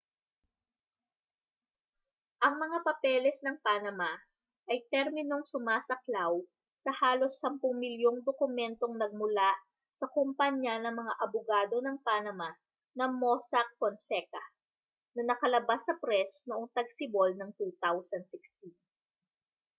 ang mga papeles ng panama ay terminong sumasaklaw sa halos sampung milyong dokumentong nagmula sa kompanya ng mga abogado ng panama na mossack fonseca na nakalabas sa press noong tagsibol ng 2016